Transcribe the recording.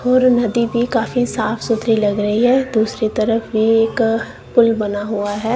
और नदी भी काफी साफ सुथरी लग रही है दूसरी तरफ भी एक पुल बना हुआ है।